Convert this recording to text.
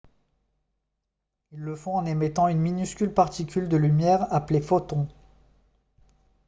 ils le font en émettant une minuscule particule de lumière appelée « photon »